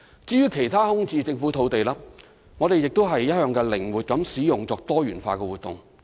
至於其他空置政府用地，我們亦一向靈活使用，以進行多元化活動。